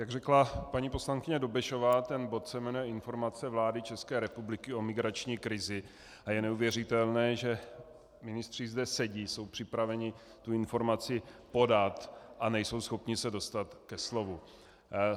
Jak řekla paní poslankyně Dobešová, ten bod se jmenuje Informace vlády České republiky o migrační krizi a je neuvěřitelné, že ministři zde sedí, jsou připraveni tu informaci podat a nejsou schopni se dostat ke slovu.